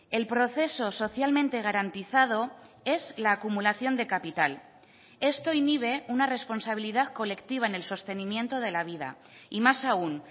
el proceso socialmente garantizado es la acumulación de capital esto inhibe una responsabilidad colectiva en el sostenimiento de la vida y más aún